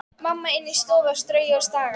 Mamma inni í stofu að strauja og staga.